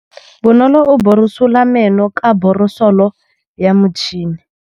Bonolô o borosola meno ka borosolo ya motšhine.